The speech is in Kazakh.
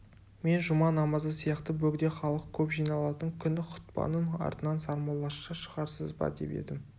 мен жұма намазы сияқты бөгде халық көп жиналатын күні хұтпаның артынан сармоллаша шығарсыз ба деп едім